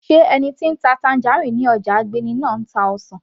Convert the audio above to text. sé ẹni tí ń ta tangerine ní ọjà Agbeni náà ń ta ọsàn